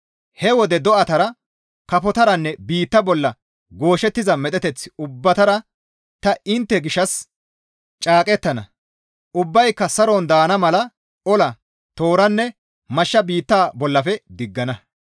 He wode do7atara, kafotaranne biitta bolla gooshettiza medheteth ubbatara ta intte gishshas caaqettana. Ubbayka saron daana mala ola, tooranne, Mashsha biitta bollafe ta diggana.